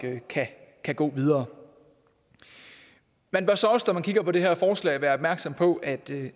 kan kan gå videre man bør så også når man kigger på det her forslag være opmærksom på at det